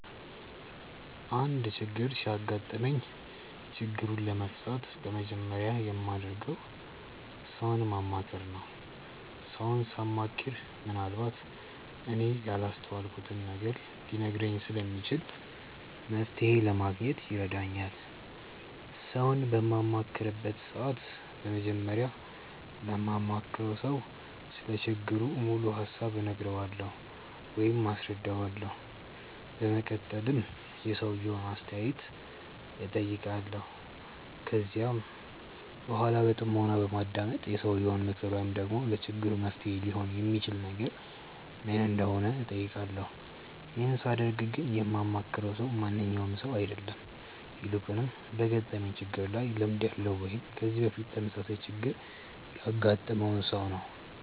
አንድ ችግር ሲያጋጥመኝ ችግሩን ለመፍታት በመጀመሪያ የማደርገው ሰውን ማማከር ነው። ሰውን ሳማክር ምንአልባት እኔ ያላስተዋልኩትን ነገር ሊነግረኝ ስለሚችል መፍተሔ ለማግኘት ይረዳኛል። ሰውን በማማክርበት ሰዓት በመጀመሪያ ለማማክረው ሰው ስለ ችግሩ ሙሉ ሀሳብ እነግረዋለሁ ወይም አስረዳዋለሁ። በመቀጠልም የሰውየውን አስተያየት እጠይቃለሁ። ከዚያም በኃላ በጥሞና በማዳመጥ የሰውየው ምክር ወይም ደግሞ ለችግሩ መፍትሔ ሊሆን የሚችል ነገር ምን እንደሆነ እጠይቃለሁ። ይህን ሳደርግ ግን የማማክረው ሰው ማንኛውም ሰው አይደለም። ይልቁንም በገጠመኝ ችግር ላይ ልምድ ያለው ወይም ከዚህ በፊት ተመሳሳይ ችግር ያገጠመውን ሰው ነው።